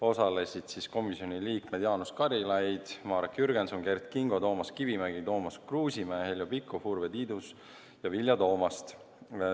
Osalesid komisjoni liikmed Jaanus Karilaid, Marek Jürgenson, Kert Kingo, Toomas Kivimägi, Tarmo Kruusimäe, Heljo Pikhof, Urve Tiidus ja Vilja Toomast.